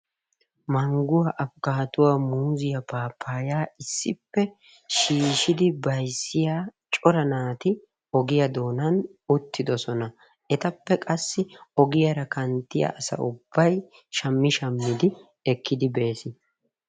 Manguwa, afikaattuwa ,muuzziyaa, papayaa, issippe shiishshidi bayzziya cora naati ogiya doonan uttidosonna. Etappe qasi ogiyaara kantyiya asa ubbay shami shamidi ekkidi beesi.